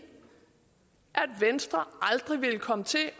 at venstre aldrig ville komme til